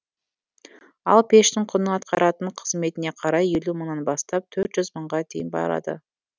ал пештің құны атқаратын қызметіне қарай елу мыңнан бастап төрт жүз мыңға дейін барады